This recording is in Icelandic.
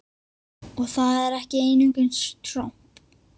Og það er ekki einungis tromp!